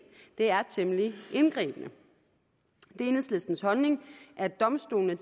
det er temmelig indgribende det er enhedslistens holdning at domstolene